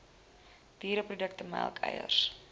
diereprodukte melk eiers